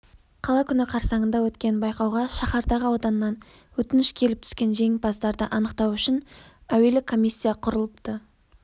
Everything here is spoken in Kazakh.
қала күні қарсаңында өткен байқауға шаһардағы ауданнан өтініш келіп түскен жеңімпаздарды анықтау үшін әуелі комиссия құрылыпты